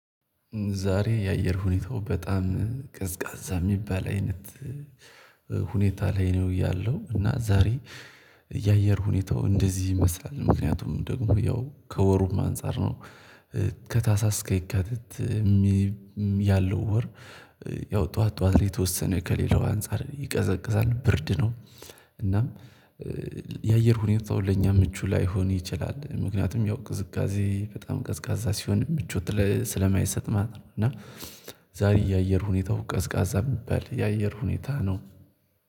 ዛሬ የአየር ሁኔታው በጣም ቀዝቃዛ የሚባል አይነት ሁኔታ ላይ ነው ያለው። እና ዛሬ የአየር ሁኔታው እንደዚህ ይመስላል ምክንያቱም ደግሞ ያው ከወሩም አንፃር ነው። ከታህሳስ እስከ የካቲት ያለው ወር። ያው ጠዋት ጠዋት ላይ የተወሰነ ከሌላው አንፃር ይቀዘቅዛል ብርድ ነው። እናም የአየር ሁኔታው ለእኛ ምቹ ላይሆን ይችላል ምክንያቱም ያው ቅዝቃዜ በጣም ቀዝቃዛ ሲሆን ምቾት ስለማይሰጥ ማለት ነው። እና ዛሬ የአየር ሁኔታው ቀዝቃዛ የሚባል የአየር ሁኔታ ነው